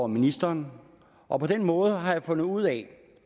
ministeren og på den måde har jeg fundet ud af